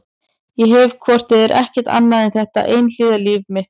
Ég hef hvort eð er ekkert annað en þetta einhliða líf mitt.